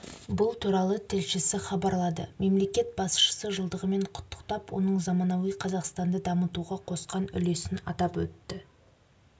бұл туралы тілшісі хабарлады мемлекет басшысы жылдығымен құттықтап оның заманауи қазақстанды дамытуға қосқан үлесін атап өтті